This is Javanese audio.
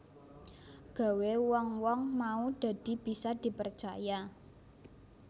Gawé wong wong mau dadi bisa dipercaya